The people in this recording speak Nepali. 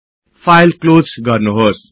फाईल क्लोज गर्नुहोस्